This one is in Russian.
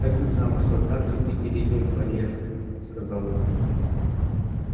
так и знал что однажды ты перейдёшь барьер сказал он